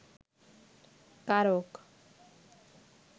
কারক